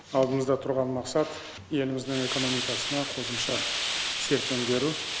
алдымызда тұрған мақсат еліміздің экономикасына қосымша серпін беру